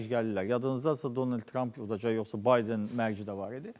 Yadınızdadırsa, Donald Trump udacaq yoxsa Biden mərci də var idi.